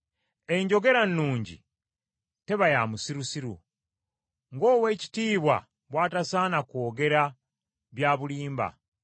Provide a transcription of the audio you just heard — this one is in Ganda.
Enjogerannungi teba ya musirusiru, ng’oweekitiibwa bw’atasaana kwogera bya bulimba.